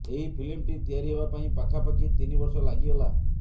ଏହି ଫିଲ୍ମଟି ତିଆରି ହେବା ପାଇଁ ପାଖାପାଖି ତିନି ବର୍ଷ ଲାଗିଗଲା